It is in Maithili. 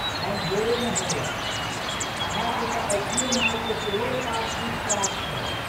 हम भोरे नहयलौं। अहाँकेँ तऽ अछिए माय के सेहो एकादशीक प्रात छै।